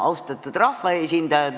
Austatud rahvaesindajad!